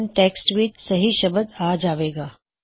ਹੁਣ ਟੈਕ੍ਸਟ ਵਿੱਚ ਸਹੀ ਸ਼ਬਦ ਆ ਜਾਵੇਗਾ